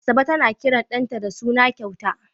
Asabe tana kiran ɗanta da suna kyauta.